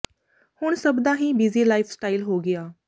ਹੁਣ ਸਭ ਦਾ ਹੀ ਬਿਜ਼ੀ ਲਾਈਫ ਸਟਾਈਲ ਹੋ ਗਿਆ